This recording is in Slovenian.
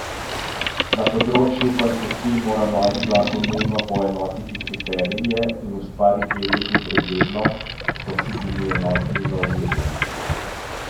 Na področju koncesij mora novi zakon nujno poenotiti kriterije in ustvariti red in preglednost, so si bili enotni za omizjem.